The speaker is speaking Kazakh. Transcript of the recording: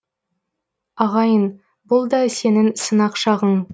ағайын бұл да сенің сынақ шағың